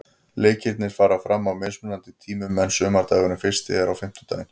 Leikirnir fara fram á mismunandi tímum en sumardagurinn fyrsti er á fimmtudaginn.